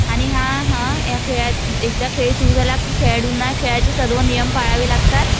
आणि एकदा हा खेळ सुरु झाला की खेळाडूंना खेळाचे सर्व नियम पाळावे लागतात.